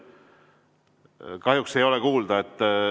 Kahjuks ei ole kuulda.